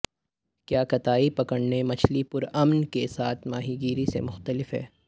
کیا کتائی پکڑنے مچھلی پرامن کے ساتھ ماہی گیری سے مختلف ہے